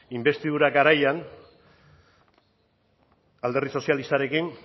inbestidura garaian alderdi sozialistarekin